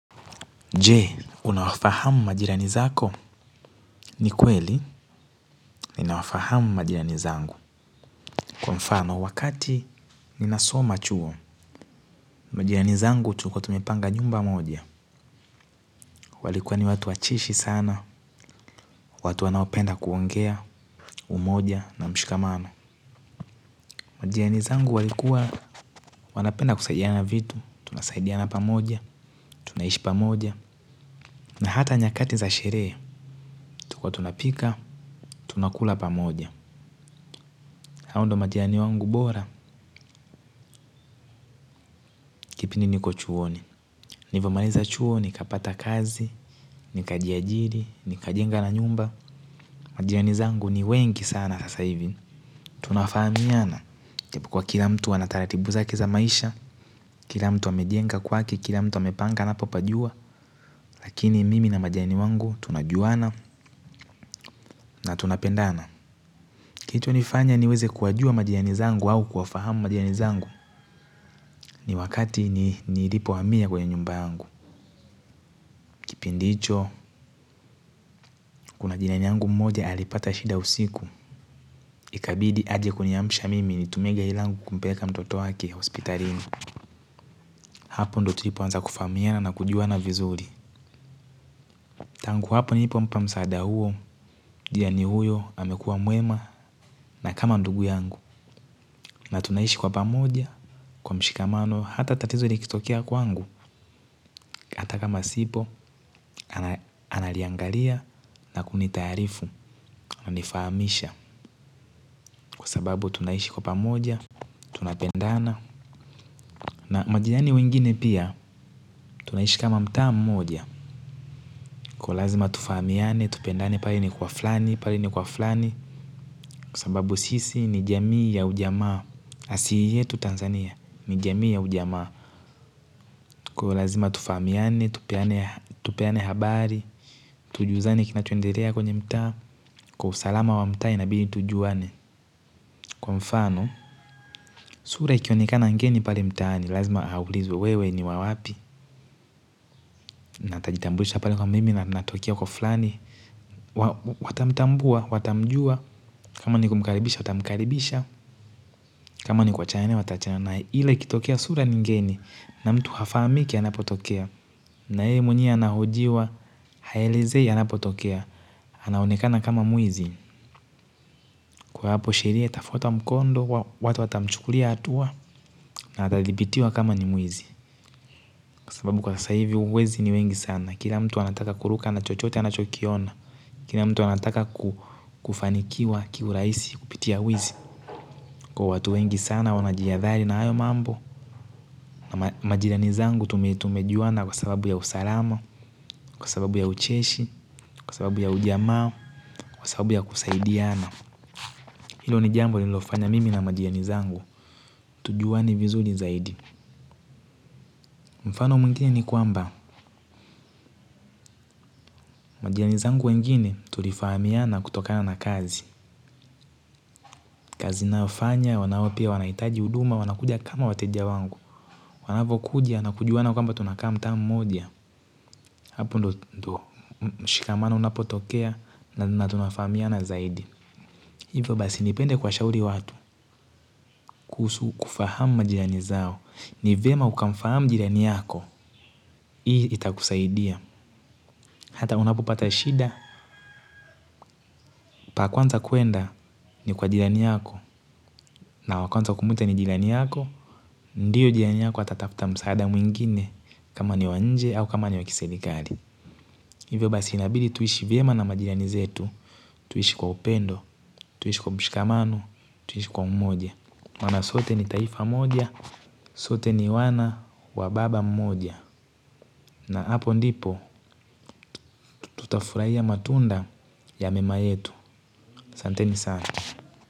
Je unawafahamu majirani zako? Ni kweli ninawafahamu majirani zangu. Kwa mfano wakati ninasoma chuo, majirani zangu tulikuwa tumepanga nyumba moja. Walikuwa ni watu wacheshi sana watu wanaopenda kuongea umoja na mshikamano majirani zangu walikuwa wanapenda kusaidiana vitu tunasaidiana pamoja tunaishi pamoja na hata nyakati za sherehe tulikuwa tunapika tunakula pamoja. Hao ndio majirani wangu bora, kipindi niko chuoni. Nilivyomaliza chuoni, nikapata kazi, nikajiajili, nikajenga na nyumba. Majirani zangu ni wengi sana sasa hivi. Tunafahamiana, ijapokuwa kila mtu ana taratibu zake za maisha, kila mtu amejenga kwake, kila mtu amepanga anapopajua lakini mimi na majirani wangu tunajuana na tunapendana. Kitu ilinifanya niweze kuwajua majirani zangu au kuafahamu majirani zangu ni wakati ni nilipo hamia kwenye nyumba yangu. Kipindi hicho, kuna jirani yangu mmoja alipata shida usiku. Ikabidi aje kuniamisha mimi nitumie gari langu kumpeleka mtoto wake hospitalini. Hapo ndo tulipo anza kufahamiana na kujuana vizuri tangu hapo nilipompa msaada huo, jirani huyo amekuwa mwema na kama ndugu yangu. Na tunaishi kwa pamoja kwa mshikamano hata tatizo likitokiea kwangu. Hata kama sipo, analiangalia na kunitaarifu ananifahamisha. Kwa sababu tunaishi kwa pamoja, tunapendana. Na majirani wengine pia, tunaishi kama mtaa mmoja. Kwa lazima tufahamiane, tupendane pale ni kwa fulani, pale ni kwa fulani. Kwa sababu sisi ni jamii ya ujamaa asili yetu Tanzania, ni jamii ya ujamaa. Kwa hivyo lazima tufahamiane, tupeane habari. Tujuzane kinachoendelea kwenye mtaa. Kwa usalama wa mtaa inabidi tujuane. Kwa mfano, sura ikionikana ngeni pale mtaani. Lazima auilizwe wewe ni wa wapi. Na atajitambulisha pale kwa mimi na anatokea kwa fulani. Watamtambua, watamjua. Kama ni kumkaribisha, watamkaribisha. Kama ni kuachana na yeye watachana na yeye ile ikitokea sura ni ngeni. Na mtu hafahamiki anapotokea. Na yeye mwenye anahojiwa haelezei anapotokea. Anaonekana kama mwizi. Kwa hapo sheria, itafuata mkondo. Watu watamchukulia hatua akathibitiwa kama ni mwizi kwa sababu kwa sasa hivi wezi ni wengi sana kila mtu anataka kuruka na chochote anachokiona kila mtu anataka kufanikiwa kwa kiurahisi kupitia wizi kwa watu wengi sana wamejihathari sana na hiyo mambo. Majirani zangu tumetumejuana kwa sababu ya usalama, kwa sababu ya ucheshi, kwa sababu ya ujamaa, kwa sababu ya kusaidiana. Hilo ni jambo liliofanya mimi na majirani zangu tujuane vizuri zaidi. Mfano mwingine ni kwamba majirani zangu wengine tulifahamiana kutokana na kazi. Kazi nayofanya wanao pia wanahitaji huduma wanakuja kama wateja wangu wanavyokuja na kujuana kwamba tunakaa mtaa mmoja hapo ndio mshikamano unapotokea na tunafahamiana zaidi. Hivyo basi nipende kuwashauri watu kuhusu kufahamu majirani zao. Ni vyema ukamfahamu jirani yako. Hii itakusaidia. Hata unapopata shida. Pa kwanza kuenda ni kwa majirani yako. Na wa kwanza kumwita ni jirani yako. Ndiyo jirani yako atatafuta msaada mwingine. Kama ni wa nje au kama ni wa kiserikali. Hivyo basi inabidi tuishi vyema na majirani zetu. Tuishi kwa upendo, tuishi kwa mshikamano, tuishi kwa umoja maana sote ni taifa mmoja, sote ni wana wa baba mmoja. Na hapo ndipo, tutafurahia matunda ya mema yetu aSanteni sana.